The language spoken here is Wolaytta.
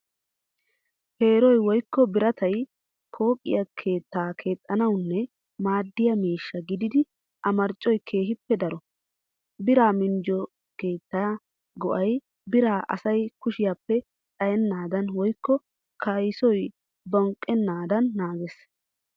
Peeroy woykko biratay pooqee keettaa keexxanawunne maaddiyaa miishsha gididi a marccoy keehippe daro. Biraa minjjiyo keettaa go'ay biray asa kushiyaappe xayennaadan woykko kayssoy bonqqennaadan naagees.